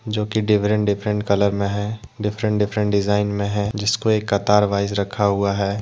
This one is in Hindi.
जोकि डिफरेंट डिफरेंट कलर मे है डिफरेंट डिफरेंट डिजाइन में है जिसको एक कतार वाइज रखा हुआ है।